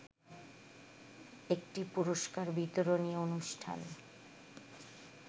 একটি পুরষ্কার বিতরণী অনুষ্ঠান